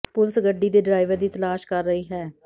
police ਗੱਡੀ ਦੇ driver ਦੀ ਤਲਾਸ਼ ਕਰ ਰਹੀ ਹੈ